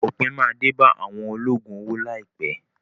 Òpin máa dé bá àwọn olóògùn owó láìpẹ́.